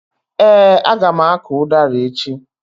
Ee, a ga m akụ udara echi.